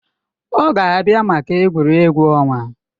Ọ ga-abịa maka egwuregwu ọnwa